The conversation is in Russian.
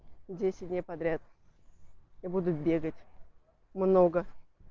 десять дней подряд я буду бегать много